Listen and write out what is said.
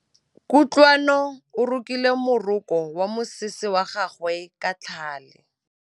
Kutlwanô o rokile morokô wa mosese wa gagwe ka tlhale.